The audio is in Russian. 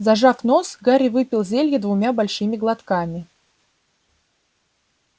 зажав нос гарри выпил зелье двумя большими глотками